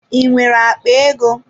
I nwere akpa ego?